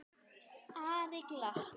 Ari glotti.